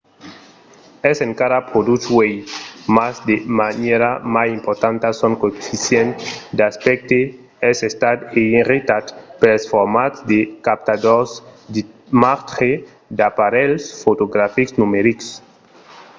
es encara produch uèi mas de manièra mai importanta son coeficient d'aspècte es estat eiretat pels formats de captadors d'imatge d'aparelhs fotografics numerics